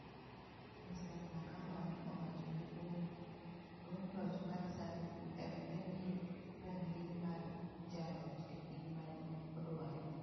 Mr. Mnangagwa ne owacho ni duond duond loch mar Zanu-Pf nemiye rang'iny mar jaloch e piny mane odwaro.